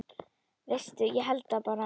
Veistu, ég held það bara.